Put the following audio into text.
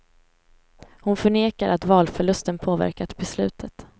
Hon förnekar att valförlusten påverkat beslutet.